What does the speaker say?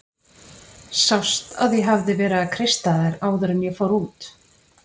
Sást að ég hafði verið að kreista þær áður en ég fór út?